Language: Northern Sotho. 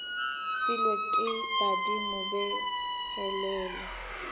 filwe ke badimo be helele